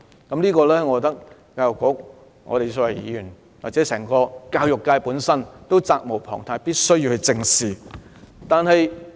我覺得教育局、議員或教育界也責無旁貸，必須正視這個問題。